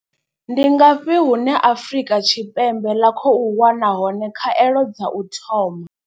Ndi ngafhi hune Afrika Tshipembe ḽa khou wana hone khaelo dza u thoma.